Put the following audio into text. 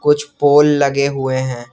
कुछ पोल लगे हुए हैं।